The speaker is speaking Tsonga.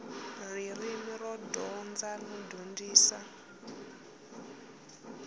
ririmi ro dyondza no dyondzisa